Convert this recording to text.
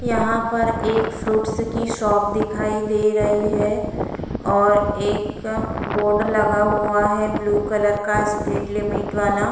यहाँ पर एक फ्रूट्स की शॉप दिखाई दे रही है और एक बोर्ड लगा हुआ है। ब्लू कलर का स्पीड लिमिट वाला --